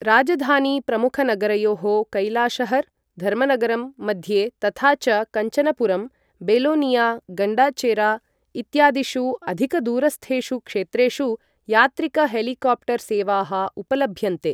राजधानी प्रमुखनगरयोः कैलाशहर्, धर्मनगरम् मध्ये तथा च कञ्चनपुरं, बेलोनिया, गण्डाचेरा इत्यादिषु अधिकदूरस्थेषु क्षेत्रेषु यात्रिकहेलिकाप्टर् सेवाः उपलभ्यन्ते।